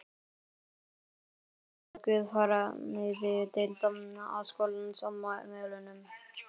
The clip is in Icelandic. Bæði í menntaskóla og guðfræðideild háskólans á Melunum.